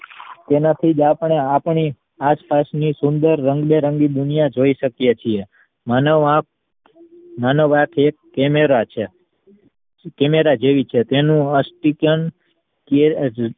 તેનાથી જ આપણે આપણી આસપાસ ની સુંદર રંગબેરંગી દુનિયા જોઈ શકીયે છીએ. માનવ આંખ માનવ આંખ એક camera છે camera જેવી છે તેનું સ્પીકેન